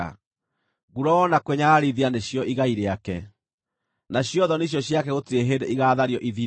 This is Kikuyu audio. Nguraro na kwĩnyararithia nĩcio igai rĩake, na cio thoni icio ciake gũtirĩ hĩndĩ igaathario ithire;